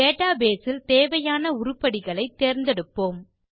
database இல் தேவையான உருப்படிகளை தேர்ந்தெடுப்போம்